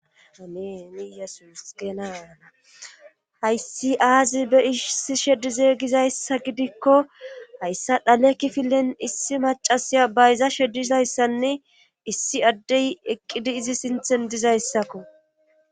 amiini yesus geenana hayssi aazi be issi sheddizeygizayssa gidikko hayssa dhale kifilen issi macasiya bayza shedizayssanne issi addey eqqidi izi sinthen dizayssakko